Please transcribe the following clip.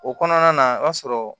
O kɔnɔna na i b'a sɔrɔ